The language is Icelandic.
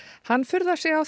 hann furðar sig á